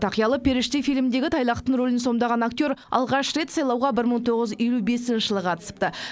тақиялы періште фильмдегі тайлақтың рөлін сомдаған актер алғаш рет сайлауға бір мың тоғыз елу бесінші жылы қатысыпты